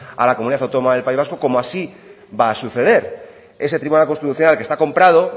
a la comunidad autónoma del país vasco como así va a suceder ese tribunal constitucional que está comprado